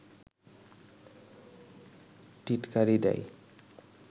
টিটকারি দেয়